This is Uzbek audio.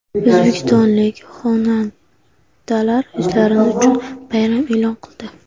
O‘zbekistonlik xonandalar o‘zlari uchun bayram e’lon qildi.